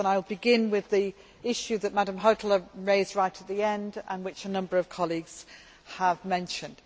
I will begin with the issue which Ms Hautala raised right at the end and which a number of colleagues have mentioned.